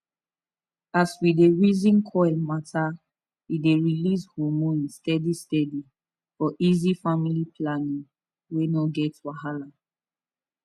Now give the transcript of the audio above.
as we dey reason coil matter e dey release hormones steady steady for easy family planning wey no get wahala